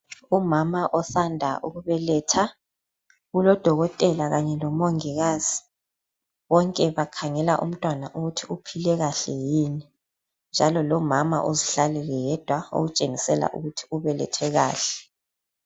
Umama osanda ukubeletha. Ulodokotela kanye lomongikazi. Bonke bakhangela umntwana ukuthi uphile kahle yini njalo lomama uzihlalele yedwa okutshengisela ukuthi ubelethe kahle.